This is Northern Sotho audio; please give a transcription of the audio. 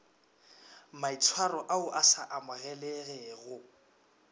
maitshwaro ao a sa amogelegego